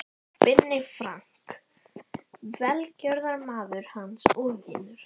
Binni Frank, velgjörðarmaður hans og vinur.